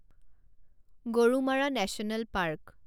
Gorumara national park